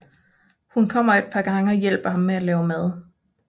Hun kommer et par gange og hjælper ham med at lave mad